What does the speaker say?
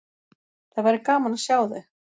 Það væri gaman að sjá þau.